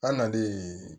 An nalen